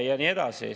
Ja nii edasi.